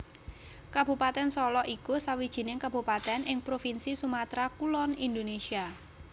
Kabupatèn Solok iku sawijining kabupatèn ing provinsi Sumatra Kulon Indonésia